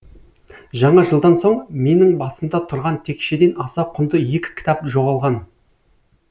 жаңа жылдан соң менің басымда тұрған текшеден аса құнды екі кітап жоғалған